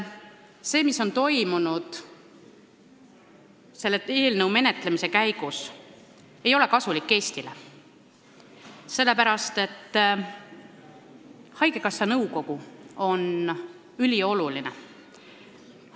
See, mis on toimunud selle eelnõu menetlemise käigus, ei ole Eestile kasulik, sellepärast et haigekassa nõukogu on ülioluline kogu.